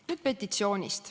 Nüüd petitsioonist.